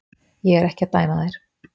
Ég er ekki að dæma þær.